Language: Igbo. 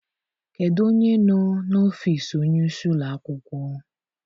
Kedụ onye nọ n'ọfiisi onye isi ụlọ akwụkwọ?